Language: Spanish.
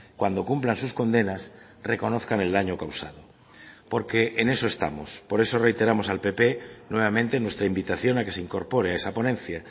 cuando cumplan sus condenas reconozcan el daño causado porque en eso estamos por eso reiteramos al pp nuevamente nuestra invitación a que se incorpore a esa ponencia